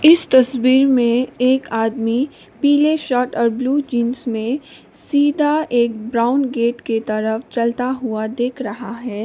इस तस्वीर में एक आदमी पीले शर्ट और ब्लू जींस में सीधा एक ब्राउन गेट के तरफ चलता हुआ दिख रहा है।